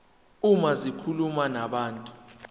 uma zikhuluma nabantu